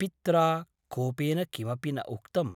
पित्रा कोपेन किमपि न उक्तम् ।